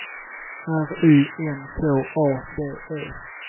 R Y N K A D E